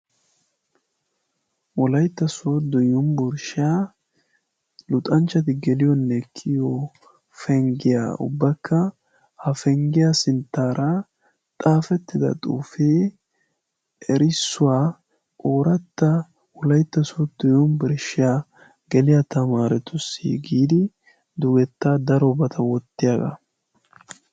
Wolaytta sodo yuniburshshiyaa luxanchchati geliyoonne kiyo penggiyaa ubbakka hafenggiyaa sinttaara xaafettida xuufie erissuwaa ooratta wolaytta suo dyunibirsshiaa geliyaa tamaaretussi giidi dugetta daro bata wottiyaagaa.